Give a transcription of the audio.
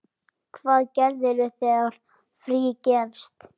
Hvað gerirðu þegar frí gefst?